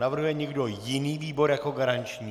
Navrhuje někdo jiný výbor jako garanční?